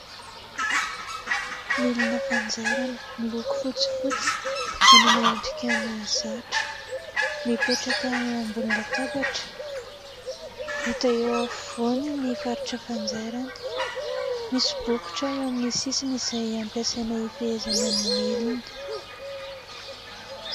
Milina fanjairana miloko fotsifotsy, manana endrika mahazatra, mipetraka eo ambony latabatra. Hita eo afovoany ny faritra fanjairana. Misy bokotra eo amin'ny sisiny izay ampiasaina ifehezana ny milina.